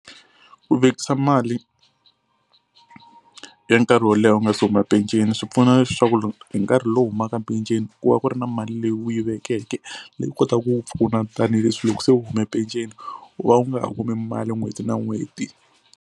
Ku vekisa mali ya nkarhi wo leha u nga se huma peceni swi pfuna leswaku loko hi nkarhi lowu u humaka penceni ku va ku ri na mali leyi u yi vekeke leyi kotaka ku pfuna tanihileswi loko se u hume penceni u va u nga ha kumi mali n'hweti na n'hweti.